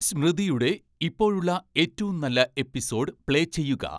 സ്മൃതിയുടെ ഇപ്പോഴുള്ള ഏറ്റവും നല്ല എപ്പിസോഡ് പ്ലേ ചെയ്യുക